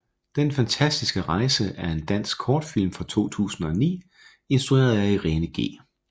Den fantastiske rejse er en dansk kortfilm fra 2009 instrueret af Irene G